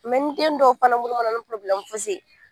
ni den dɔw fana ni fosi ye